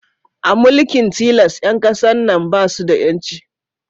A mulkin tilas, 'yan kasan na su da 'yanci